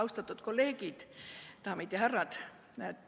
Austatud kolleegid, daamid ja härrad!